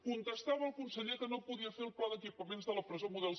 contestava el conseller que no podia fer el pla d’equipaments de la presó model